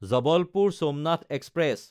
Jabalpur-Somnath express